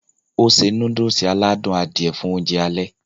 ó se núdùsì aládùn Adìẹ fún oúnjẹ alẹ́